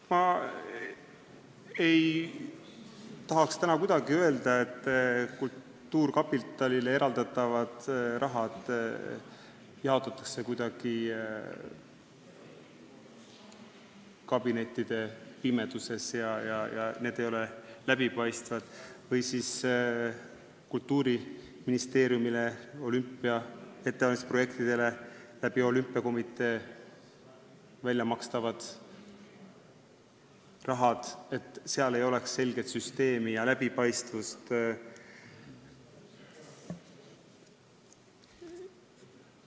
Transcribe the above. Ma ei tahaks täna kuidagi öelda, et kultuurkapitalile eraldatavat raha jaotatakse kuidagi kabinettide pimeduses ja need otsused ei ole läbipaistvad või et Kultuuriministeeriumis ei oleks olümpiaks valmistumise projektide jaoks olümpiakomitee kaudu raha maksmises selget süsteemi ja läbipaistvust.